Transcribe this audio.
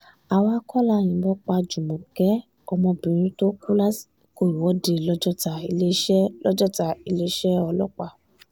àwa kọ́ la yìnbọn pa júmọ́kè ọmọbìnrin tó kù lásìkò ìwọ́de lọ́jọ́ta- iléeṣẹ́ lọ́jọ́ta- iléeṣẹ́ ọlọ́pàá